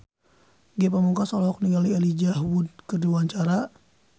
Ge Pamungkas olohok ningali Elijah Wood keur diwawancara